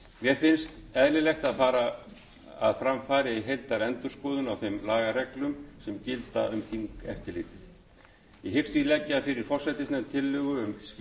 mér finnst eðlilegt að fram fari heildarendurskoðun á þeim lagareglum sem gilda um þingeftirlitið ég hyggst því leggja fyrir forsætisnefnd tillögu